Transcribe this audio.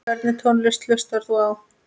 Hvernig tónlist hlustar þú á?